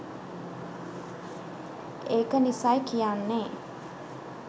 ඒක නිසයි කියන්නේ.